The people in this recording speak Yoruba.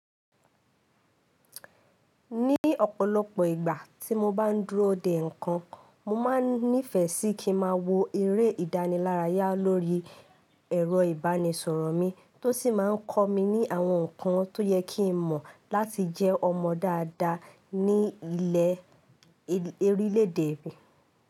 Ní ọ̀pọ̀lọpọ̀ ìgbà tí mo bá ń dúró dè ǹkan, mo máa nífẹ̀ẹ́ sí kí ń má wo eré ìdánilárayá lórí ẹ̀rọ ìbánisọ̀rọ̀ mi tó sì máa ń kọ́ mi ní àwọn nǹkan tó yẹ kí ń mọ̀ láti jẹ́ ọmọ dáadáa ní ilẹ orílé edè.